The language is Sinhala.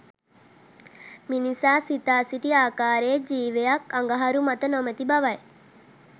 මිනිසා සිතා සිටි ආකාරයේ ජීවයක් අඟහරු මත නොමැති බවයි.